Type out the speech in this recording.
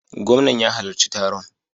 Gwamnan ya halarci taron.